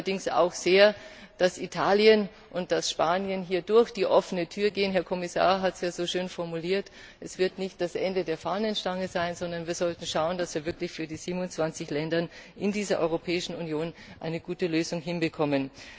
Ich hoffe allerdings auch sehr, dass Italien und Spanien hier durch die offene Tür gehen. Der Herr Kommissar hat es ja schon so schön formuliert Es wird nicht das Ende der Fahnenstange sein, sondern wir sollten uns bemühen, dass wir wirklich für die 27 Länder in der Europäischen Union eine gute Lösung hinbekommen.